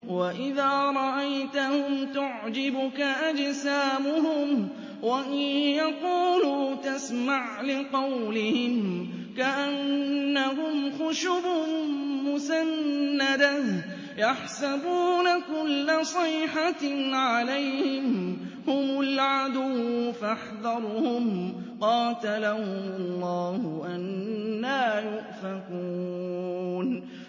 ۞ وَإِذَا رَأَيْتَهُمْ تُعْجِبُكَ أَجْسَامُهُمْ ۖ وَإِن يَقُولُوا تَسْمَعْ لِقَوْلِهِمْ ۖ كَأَنَّهُمْ خُشُبٌ مُّسَنَّدَةٌ ۖ يَحْسَبُونَ كُلَّ صَيْحَةٍ عَلَيْهِمْ ۚ هُمُ الْعَدُوُّ فَاحْذَرْهُمْ ۚ قَاتَلَهُمُ اللَّهُ ۖ أَنَّىٰ يُؤْفَكُونَ